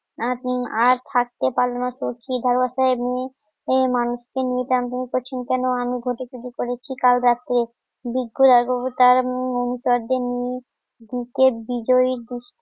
আর থাকতে পারলো না এই মানুষটি নিতাম তুমি করছেন কেন? আমি ঘটিকুটি করেছি কাল রাতে বুকের বিদায় গুষ্ট